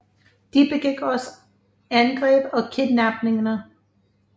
De begik også angreb og kidnapninger